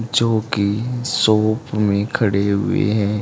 जो की शॉप में खड़े हुए हैं।